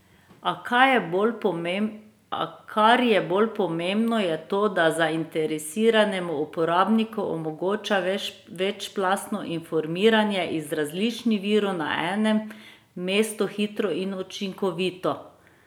A, kar je bolj pomembno je to, da zainteresiranemu uporabniku omogoča večplastno informiranje iz različnih virov na enem mestu hitro in učinkovito.